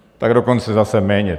Tak dokonce zase méně.